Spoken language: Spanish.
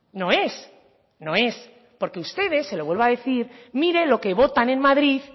no es no es porque ustedes se lo vuelvo a decir mire lo que votan en madrid